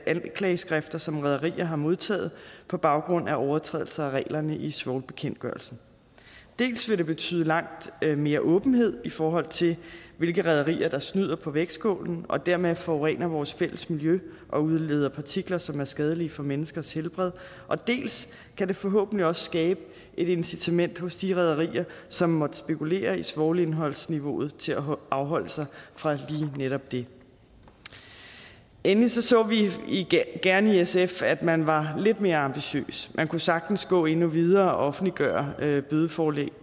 anklageskrifter som rederier har modtaget på baggrund af overtrædelse af reglerne i svovlbekendtgørelsen dels vil det betyde langt mere åbenhed i forhold til hvilke rederier der snyder på vægtskålen og dermed forurener vores fælles miljø og udleder partikler som er skadelige for menneskers helbred dels kan det forhåbentlig også skabe et incitament hos de rederier som måtte spekulere i svovlindholdsniveauet til at afholde sig fra lige netop det endelig så så vi gerne i sf at man var lidt mere ambitiøs man kunne sagtens gå endnu videre og offentliggøre bødeforelæg